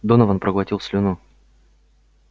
донован проглотил слюну